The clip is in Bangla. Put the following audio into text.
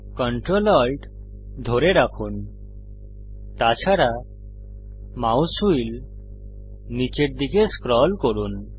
ctrl alt ধরে রাখুন তাছাড়া মাউস হুইল নীচের দিকে স্ক্রল করুন